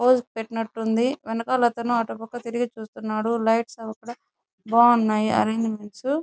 Holes పెట్టినట్టుంది వెనకాల వెళ్తున్నావా అటువైపు తిరిగి చూస్తున్నాడు లైట్స్ అవి కూడా బాగున్నాయ అరేంజ్మెంట్ .